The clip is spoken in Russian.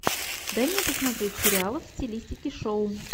дай мне посмотреть сериалы в стилистике шоу